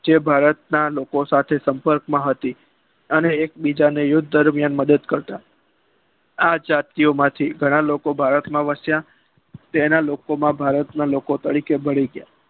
જે ભારતના લોકો સાથે સંપર્ક માં હતી અને એક બીજાને યુદ્ધ દરમિયાન મદદ કરતા અને આ જાતિયો માંથી ઘણા લોકો ભારતમાં વસ્યા ત્યાના લોકો ભારતમાં લોકો તરીકે મળી ગયા